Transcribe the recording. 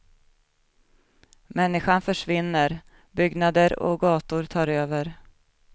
Människan försvinner, byggnader och gator tar över.